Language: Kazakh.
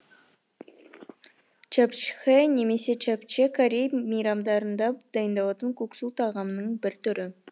чапчхэ немесе чапче корей мейрамдарында дайындалатын куксу тағамының бір түрі